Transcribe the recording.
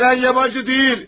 Gələn yabançı deyil!